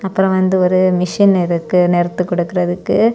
அப்ரோ வந்து ஒரு மெஷின் இருக்கு நெருத்து குடுக்குறதுக்கு.